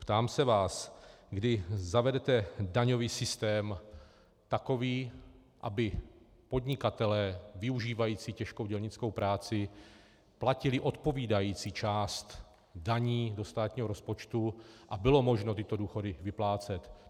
Ptám se vás, kdy zavedete daňový systém takový, aby podnikatelé využívající těžkou dělnickou práci platili odpovídající část daní do státního rozpočtu a bylo možno tyto důchodu vyplácet.